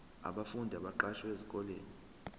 abafundi abaqashwe esikoleni